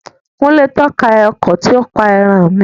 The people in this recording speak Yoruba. Kúnlé tọ́ka ọkọ tí ó pa ẹran mi